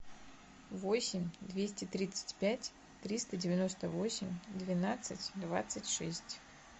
восемь двести тридцать пять триста девяносто восемь двенадцать двадцать шесть